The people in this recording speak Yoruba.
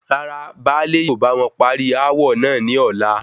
Rárá, báálè yóò báwọn parí aawọ náà ní ọ̀la